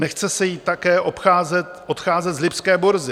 Nechce se jí také odcházet z lipské burzy.